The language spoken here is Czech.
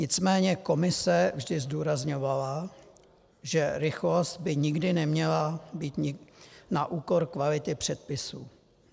Nicméně Komise vždy zdůrazňovala, že rychlost by nikdy neměla být na úkor kvality předpisů.